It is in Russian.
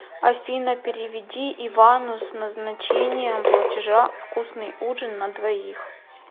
афина переведи ивану с назначением платежа вкусный ужин на двоих